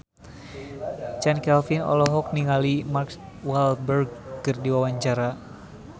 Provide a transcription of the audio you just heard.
Chand Kelvin olohok ningali Mark Walberg keur diwawancara